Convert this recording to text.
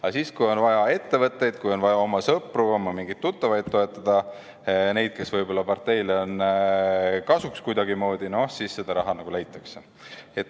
Aga siis, kui on vaja ettevõtteid, kui on vaja oma sõpru, oma mingeid tuttavaid toetada – neid, kes võib-olla parteile on kuidagimoodi kasuks –, no siis raha nagu leitakse.